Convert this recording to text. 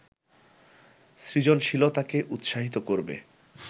সৃজনশীলতাকে উৎসাহিত করবে